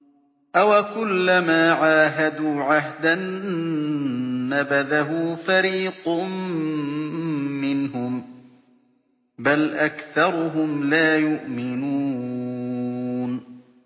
أَوَكُلَّمَا عَاهَدُوا عَهْدًا نَّبَذَهُ فَرِيقٌ مِّنْهُم ۚ بَلْ أَكْثَرُهُمْ لَا يُؤْمِنُونَ